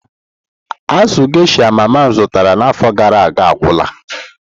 Azụ geysha mama m zụtara n'afọ gara aga agwụla.